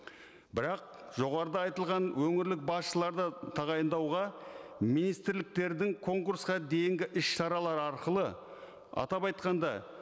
бірақ жоғарыда айтылған өңірлік басшыларды тағайындауға министрліктердің конкурсқа дейінгі іс шаралары арқылы атап айтқанда